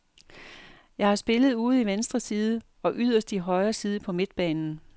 Jeg har spillet ude i venstre side og yderst i højre side på midtbanen.